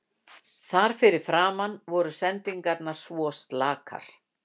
Þar fyrir framan voru sendingarnar svo slakar.